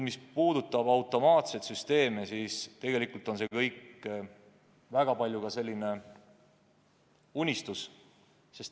Mis puudutab automaatseid süsteeme, siis tegelikult on see kõik väga suures osas unistus.